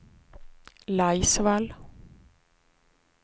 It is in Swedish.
Laisvall